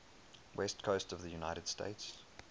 west coast of the united states